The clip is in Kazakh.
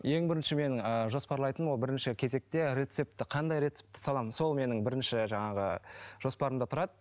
ең бірінші мен ыыы жоспарлайтыным ол бірінші кезекте рецепті қандай рецепті саламын сол менің бірінші жаңағы жоспарымда тұрады